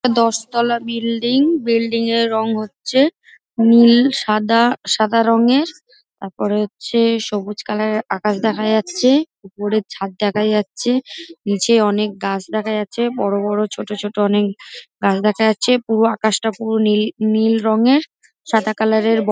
দশ তলা building. Building -এর রং হচ্ছে নীল সাদা সাদা রঙের। তারপরে হচ্ছে সবুজ কালার -এর আকাশ দেখা যাচ্ছে। উপরে ছাদ দেখা যাচ্ছে । নিচে অনেক গাছ দেখা যাচ্ছে বড় বড় ছোট ছোট অনেক গাছ দেখা যাচ্ছে। পুরো আকাশটা পুরো নীল নীল রংয়ের। সাদা কালার -এর ব--